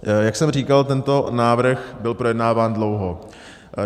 Jak jsem říkal, tento návrh byl projednáván dlouho.